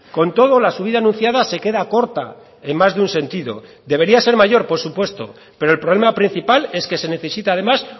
con todo la subida anunciada se queda corta en más de un sentido debería ser mayor por supuesto pero el problema principal es que se necesita además